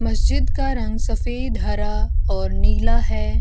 मस्जिद का रंग सफ़ेद हरा और नीला है।